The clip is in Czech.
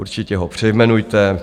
Určitě ho přejmenujte.